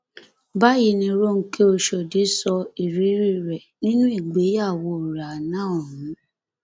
báyìí ni ronke oshọdì sọ ìrírí rẹ nínú ìgbéyàwó rẹ àná ọhún